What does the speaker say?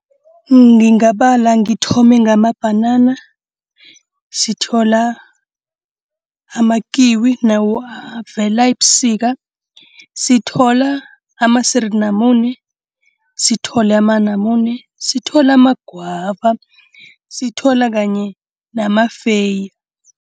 Ngingabala ngithome ngamabhanana. Sithola amakiwi nawo avela ebusika. Sithola amasirinamune, sithola amanamune, sithola amagwava, sithola kanye namafeye.